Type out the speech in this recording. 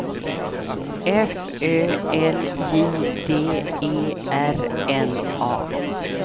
F Ö L J D E R N A